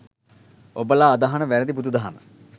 ඔබලා අදහන වෑරදි බුදුදහම